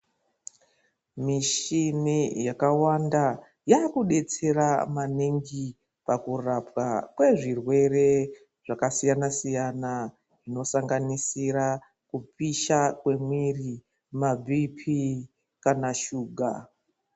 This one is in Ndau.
Mishini yakawanda, yakudetsera maningi pakurapwa kwezvirwere zvakasiyana siyana. Zvinosanganisira, kupisha kwemwiri, mabhiphi kana shuga.